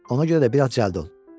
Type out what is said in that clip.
Ona görə də biraz cəld ol.